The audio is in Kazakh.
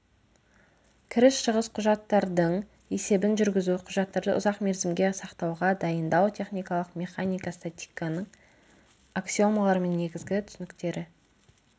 кіріс-шығыс құжаттардың есебін жүргізу құжаттарды ұзақ мерзімге сақтауға дайындау техникалық механика статиканың аксиомалары мен негізгі түсініктері